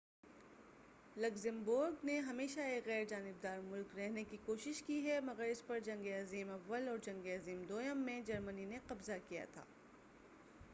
Luxembourg نے ہمیشہ ایک غیرجانبدار مُلک رہنے کی کوشش کی ہے مگر اس پر جنگ عظیم اوّل اور جنگِ عظیم دوئم میں جرمنی نے قبضہ کیا تھا